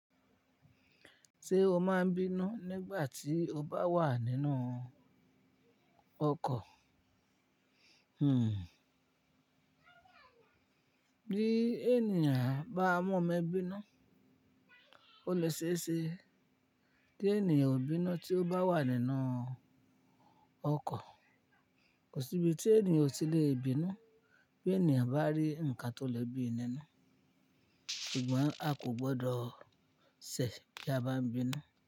Ṣé o máa ń bínú nígbà tí o bá wà nínú ọkọ̀? Hmmm. Bí ènìyàn bá mọ̀ọmọ bínú, ó le ṣe é ṣe tí ènìyàn ò bínú tí ó bá wà nínú ọkọ̀. Kò síbi tí ènìyàn ò tí lè bínú bí ènìyàn bá rí nǹkan tó le bíi nínú. Ṣùgbọ́n a kò gbọ́dọ̀ ṣẹ̀ bí a bá ń bínú.